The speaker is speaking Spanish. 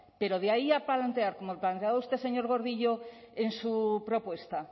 pero de ahí a plantear como planteaba usted señor gordillo en su propuesta